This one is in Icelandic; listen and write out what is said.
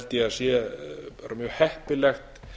sé bara mjög heppilegt